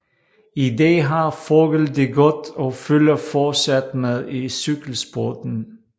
I dag har Vogel det godt og følger fortsat med i cykelsporten